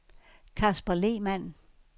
Kasper Lehmann